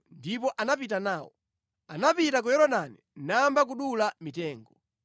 Ndipo anapita nawo. Anapita ku Yorodani nayamba kudula mitengo.